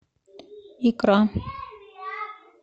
икра